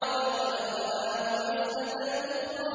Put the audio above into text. وَلَقَدْ رَآهُ نَزْلَةً أُخْرَىٰ